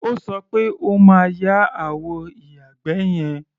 O sọ pé o máa ya àwọ ìyàgbẹ́ yẹn.